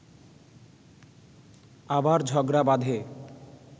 আবার ঝগড়া বাঁধে